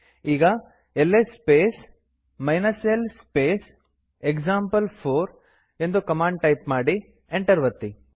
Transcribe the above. ಈಗ L S space l space example ಎಂದು command type ಮಾಡಿ ಎಂಟರ್ ಒತ್ತಿ